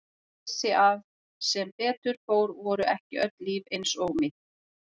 Ég vissi að sem betur fór voru ekki öll líf eins og mitt.